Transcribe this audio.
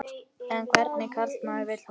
En hvernig karlmann vil hún?